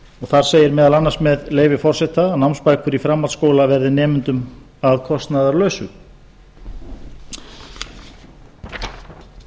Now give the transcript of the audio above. þar segir meðal annars með leyfi forseta að námsbækur í framhaldsskóla verði nemendum að kostnaðarlausu þar er